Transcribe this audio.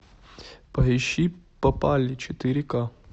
поищи попали четыре ка